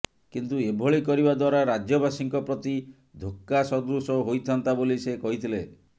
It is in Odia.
କିନ୍ତୁ ଏଭଳି କରିବା ଦ୍ବାରା ରାଜ୍ୟବାସୀଙ୍କ ପ୍ରତି ଧୋକ୍କା ସଦୃଶ ହୋଇଥାନ୍ତା ବୋଲି ସେ କହିଥିଲେ